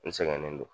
N sɛgɛnnen don